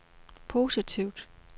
positivt